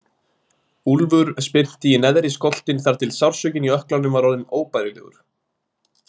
Úlfur spyrnti í neðri skoltinn þar til sársaukinn í ökklanum var orðinn óbærilegur.